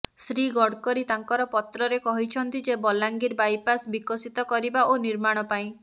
ଶ୍ରୀ ଗଡ଼କରୀ ତାଙ୍କର ପତ୍ରରେ କହିଛନ୍ତି ଯେ ବଲାଙ୍ଗୀର ବାଇପାସ ବିକଶିତ କରିବା ଓ ନିର୍ମାଣ ପାଇଁ